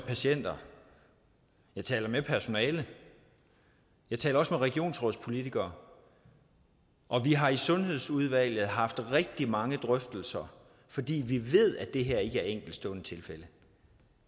patienter jeg taler med personalet jeg taler også med regionsrådspolitikerne og vi har i sundhedsudvalget haft rigtig mange drøftelser fordi vi ved at det her ikke er enkeltstående tilfælde